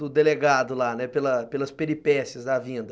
do delegado lá, pela pelas peripécias da vinda.